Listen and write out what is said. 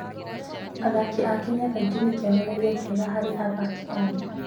Athaki a Kenya kaingĩ nĩ kĩonereria kĩega harĩ athaki a thĩ yothe.